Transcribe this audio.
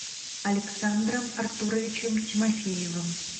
александром артуровичем тимофеевым